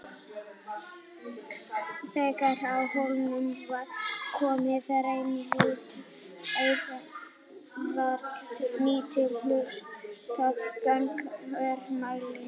Þegar á hólminn var komið reyndist aðeins hægt að nýta lítinn hluta gagnanna úr mælingunum.